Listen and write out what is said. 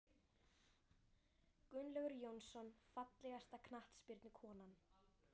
Gunnlaugur Jónsson Fallegasta knattspyrnukonan?